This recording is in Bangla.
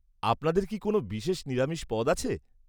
আপনাদের কি কোনও বিশেষ নিরামিষ পদ আছে?